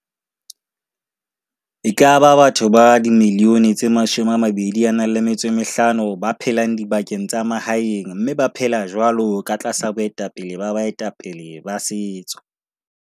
E ka ba batho ba 25 milione ba phelang dibakeng tsa ma haeng mme ba phela jwalo ka tlasa boetapele ba bae tapele ba setso.